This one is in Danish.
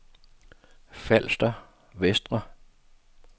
Falster Vestre